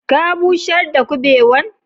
Ka busher da kubewan?